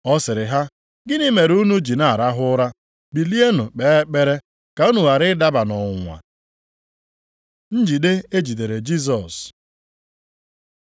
Ọ sịrị ha, “Gịnị mere unu ji na-arahụ ụra? Bilienụ kpee ekpere ka unu ghara ịdaba nʼọnwụnwa.” Njide e jidere Jisọs